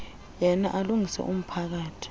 yena alungise umphakathi